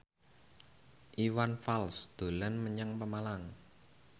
Iwan Fals dolan menyang Pemalang